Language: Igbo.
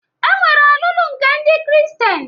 E nwere ọlụlụ nke ndị Kristien